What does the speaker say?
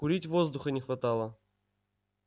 курить воздуха не хватало